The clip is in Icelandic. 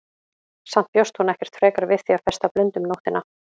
Samt bjóst hún ekkert frekar við því að festa blund um nóttina.